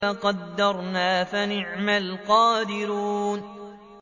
فَقَدَرْنَا فَنِعْمَ الْقَادِرُونَ